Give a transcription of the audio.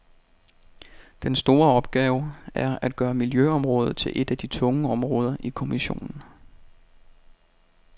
Den store opgave er at gøre miljøområdet til et af de tunge områder i kommissionen.